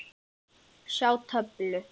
Sjá töflu.